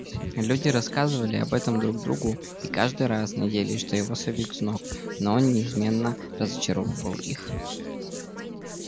люди рассказывали об этом друг другу и каждый раз надеялись что его собьют с ног но он неизменно разочаровывал их